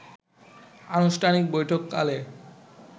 আনুষ্ঠানিক বৈঠককালে